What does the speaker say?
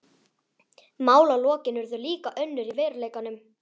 Málalokin urðu líka önnur í veruleikanum.